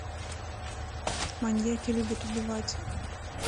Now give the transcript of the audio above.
маньяки любят убивать